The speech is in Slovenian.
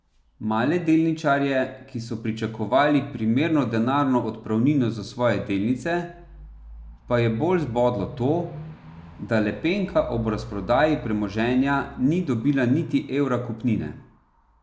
Male delničarje, ki so pričakovali primerno denarno odpravnino za svoje delnice, pa je bolj zbodlo to, da Lepenka ob razprodaji premoženja ni dobila niti evra kupnine.